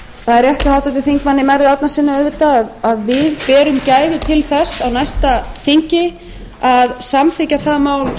það er rétt hjá háttvirtum þingmanni merði árnasyni auðvitað að við berum gæfu til þess á næsta þingi að samþykkja það mál